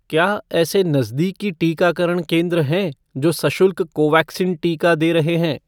क्या ऐसे नज़दीकी टीकाकरण केंद्र हैं जो सशुल्क कोवैक्सीन टीका दे रहे हैं?